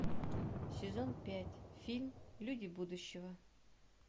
сезон пять фильм люди будущего